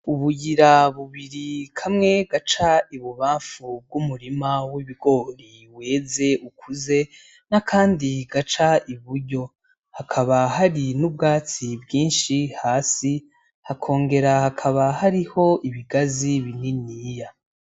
Ubuyira bubiri kamwe gaca ibubamfu bw'umurima w'ibigori weze ukuze nakandi gaca iburyo hakaba hari n'ubwatsi bwinshi hasi hakongera hakaba hariho ibigazi bininiya.